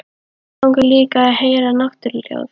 Mig langar líka að heyra náttúruhljóð.